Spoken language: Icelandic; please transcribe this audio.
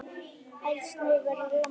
Eldsneytisverðið lamar efnahag